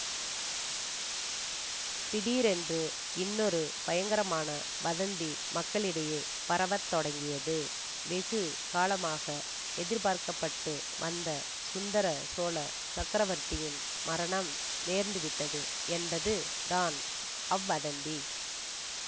திடீரென்று இன்னொரு பயங்கரமான வதந்தி மக்களிடையே பரவ தொடங்கியது வெகு காலமாக எதிர்பார்க்கப்பட்டு வந்த சுந்தர சோழசக்கரவர்த்தியின் மரணம் நேர்ந்துவிட்டது என்பது தான் அவ்வதந்தி